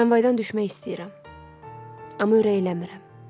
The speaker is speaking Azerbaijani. Tramvaydan düşmək istəyirəm, amma ürəyim eləmir.